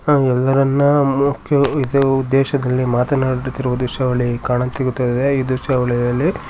ಎಲ್ಲರನ್ನ ಮುಖ್ಯ ಉದ್ದೇಶಕ್ಕಾಗಿ ಮಾತನಾಡುವು ಉದ್ದೇಶದಲ್ಲಿ ಕಾಣಿಸುತ್ತಿದೆ ಈ ತ್ರಿಶಾವಳಿಯಲ್ಲಿ--